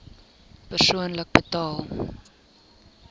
persoonlik betaal